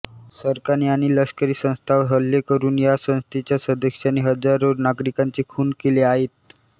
सरकारी आणि लष्करी संस्थांवर हल्ले करून या संस्थेच्या सदस्यांनी हजारो नागरिकाचे खून केले आहे्त